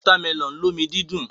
Wọ́támẹlọ̀n lómi dídùn.